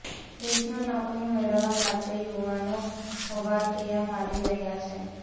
દેશમાં નોકરી મેળવવા માટે યુવાનો હવાતીયા મારી રહ્યાં છે